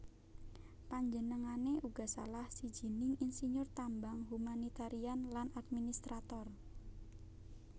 Panjenengané uga salah sijining insinyur tambang humanitarian lan administrator